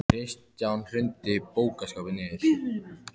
Kristján: Hrundi bókaskápur niður?